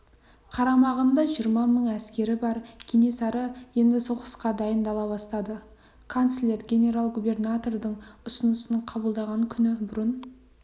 қарамағында жиырма мың әскері бар кенесары енді соғысқа дайындала бастады канцлер генерал-губернатордың ұсынысын қабылдаған күні бұрын